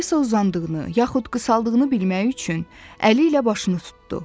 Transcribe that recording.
Alisa uzandığını, yaxud qısaldığını bilmək üçün əli ilə başını tutdu.